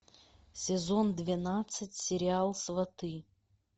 сезон двенадцать сериал сваты